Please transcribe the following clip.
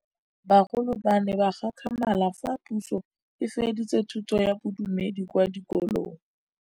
Bagolo ba ne ba gakgamala fa Pusô e fedisa thutô ya Bodumedi kwa dikolong.